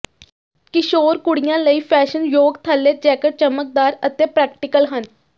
ਕਿਸ਼ੋਰ ਕੁੜੀਆਂ ਲਈ ਫੈਸ਼ਨਯੋਗ ਥੱਲੇ ਜੈਕਟ ਚਮਕਦਾਰ ਅਤੇ ਪ੍ਰੈਕਟੀਕਲ ਹਨ